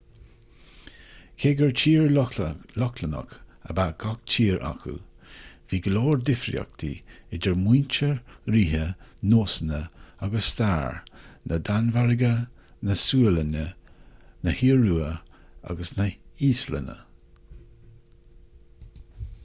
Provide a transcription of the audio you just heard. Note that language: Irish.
cé gur tír lochlannach' ab ea gach tír acu bhí go leor difríochtaí idir muintir ríthe nósanna agus stair na danmhairge na sualainne na hiorua agus na híoslainne